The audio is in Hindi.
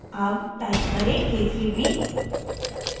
अब type करें k3b